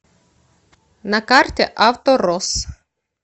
на карте авторосс